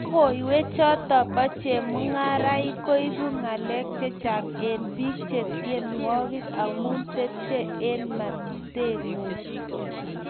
Logoywek choto bo chemangarain-- koibu ngalek chechang eng biik-eng tyenwogik, amu tepche eng metingung